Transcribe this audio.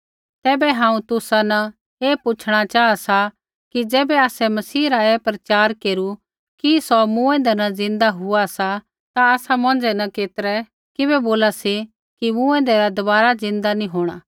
ऐबै हांऊँ तुसा न ऐ पूछ़णा चाहा सा कि ज़ैबै आसै मसीही रा ऐ प्रचार केरु कि सौ मूँऐंदै न ज़िन्दा हुआ सा ता तुसा मौंझ़ै न केतरै किबै बोला सी कि मूँऐंदै रा दबारा ज़िन्दा नी होंणा